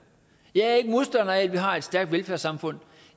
jeg er ikke modstander af at vi har et stærkt velfærdssamfund